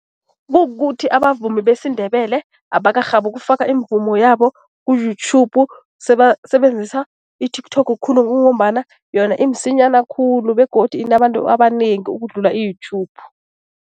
Kukuthi abavumi besiNdebele abakarhabi ukufaka imivumo yabo ku-YouTube. Sebasebenzisa i-TikTok khulu kungombana yona imsinyana khulu begodu inabantu abanengi ukudlula i-YouTube.